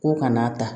Ko ka n'a ta